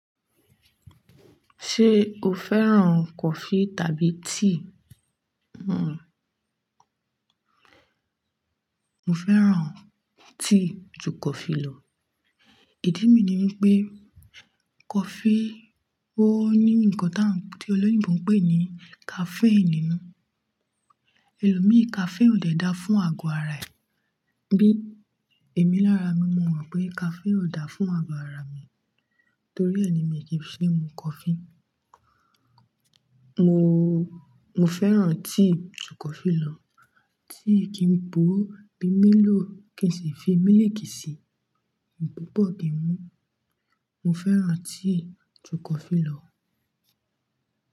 Ṣé o fẹ́ràn coffee tàbí tea? Mo fẹ́ràn tea ju coffee lọ. Ìdí mi ni wípé coffee ó ní ǹnkan tí olóyìnbo ń pè ní caffeine nínú. Elòmíí caffeine ò de é dáa fún àgọ̀ ara ẹ. Bí èmi lára mi, mo mọ̀ pé caffeine ò dáa fún àgọ̀ ara mi. Torí e ni mi kì í ṣe mu coffee. Mo, mo fẹ́ràn tea ju coffee lọ. Tea kì n po bí milo kì í sì fi milk sí i, mo gbọdọ̀ kí ń mu. Mo fẹ́ràn tea ju coffee lọ.